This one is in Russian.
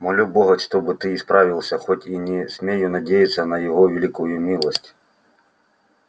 молю бога чтоб ты исправился хоть и не смею надеяться на его великую милость